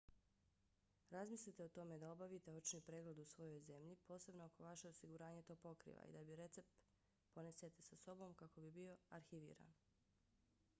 razmislite o tome da obavite očni pregled u svojoj zemlji posebno ako vaše osiguranje to pokriva i da recept ponesete sa sobom kako bi bio arhiviran